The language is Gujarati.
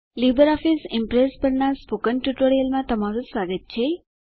લીબર ઓફીસ ઈમ્પ્રેસ પરનાં સ્પોકન ટ્યુટોરીયલમાં તમારું સ્વાગત છે